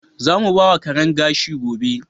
Za mu bawa Karen ƙashi gobe.